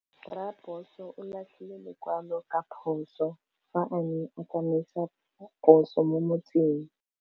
Raposo o latlhie lekwalô ka phosô fa a ne a tsamaisa poso mo motseng.